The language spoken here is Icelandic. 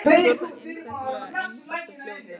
Svo er það einstaklega einfalt og fljótlegt.